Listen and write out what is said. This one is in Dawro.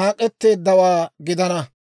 naak'etteeddawaa gidana.